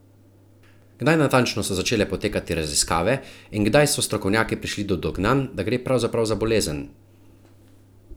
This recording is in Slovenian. Kdaj natančno so začele potekati raziskave in kdaj se strokovnjaki prišli do dognanj, da gre pravzaprav za bolezen?